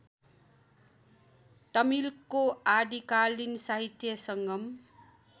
तमिलको आदिकालीन साहित्य संगम